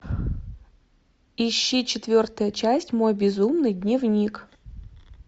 ищи четвертая часть мой безумный дневник